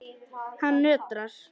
Hann nötrar.